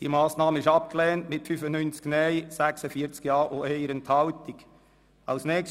Dieser Antrag ist mit 95 Nein- gegen 56 Ja-Stimmen bei 1 Enthaltung abgelehnt worden.